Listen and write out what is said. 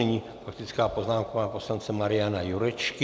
Nyní faktická poznámka pana poslance Mariana Jurečky.